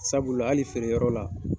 Sabula hali feere yɔrɔ la